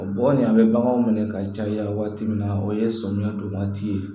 Bɔ ni an bɛ baganw minɛ ka caya waati min na o ye sɔmiyɛ don waati ye